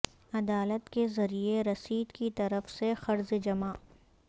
عدالت کے ذریعے رسید کی طرف سے قرض جمع